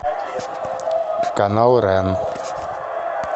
канал рен